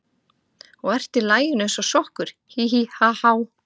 Og ert í laginu eins og sokkur, hí, hí, ha, há.